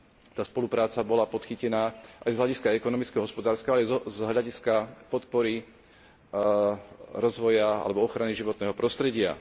tá spolupráca bola podchytená aj z hľadiska ekonomického a hospodárskeho, ale aj z hľadiska podpory rozvoja alebo ochrany životného prostredia.